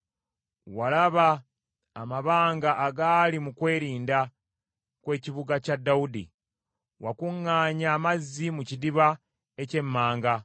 Walaba amabanga agaali mu kwerinda kw’Ekibuga kya Dawudi, wakuŋŋaanya amazzi mu Kidiba eky’Emmanga.